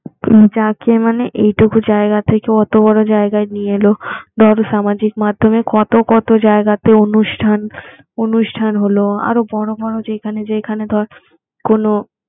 যাকে মানে এইটুকু জায়গা থেকে অত বড় জায়গায় নিয়ে এলো ধর সামাজিক মাধ্যমে কত কত জায়গাতে অনুষ্ঠান অনুষ্ঠান হলো আরো বড় বড় যেখানে যেখানে ধর কোন